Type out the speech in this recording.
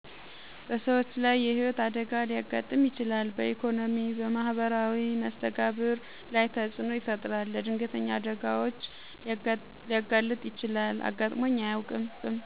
በሰዎች ላይ የህይወት አደጋ ሊያጋጥም ይችላል በኢኮኖሚ በማህበራዊ መስተጋብር ላይ ተፅዕኖ ይፈጥራል። ለድንገተኛ አደጋዎች ሊያጋልጥ ይችላል። አጋጥሞኝ አያውቅም